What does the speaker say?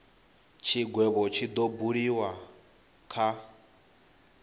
tshigwevho tshi do buliwa kha